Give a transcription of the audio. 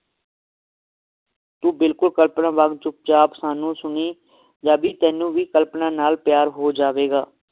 ਤੂੰ ਬਿਲਕੁਲ ਕਲਪਨਾ ਵਾਂਗ ਚੁੱਪ ਚਾਪ ਸਾਨੂੰ ਸੁਣੀਂ ਤੈਨੂੰ ਵੀ ਕਲਪਨਾ ਨਾਲ ਪਿਆਰ ਹੋ ਜਾਵੇਗਾ